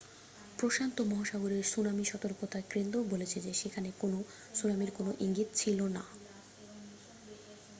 প্রশান্ত মহাসাগরের সুনামি সতর্কতা কেন্দ্রও বলেছে যে সেখানে কোনও সুনামির কোনও ইঙ্গিত ছিল না